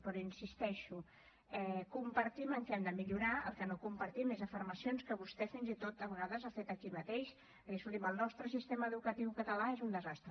però hi insisteixo compartim el que hem de millorar el que no compartim són afirmacions que vostè fins i tot a vegades ha fet aquí mateix de dir escolti’m el nostre sistema educatiu català és un desastre